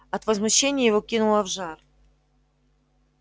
от возмущения его кинуло в жар